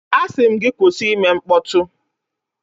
A sị m gị kwụsị ịme mkpọtụ